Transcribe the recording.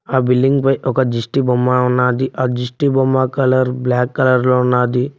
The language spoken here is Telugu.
ఆ బిల్డింగ్ పై ఒక దిష్టి బొమ్మ ఉన్నాది ఆ దిష్టి బొమ్మ కలర్ బ్లాక్ కలర్ లో ఉన్నాది.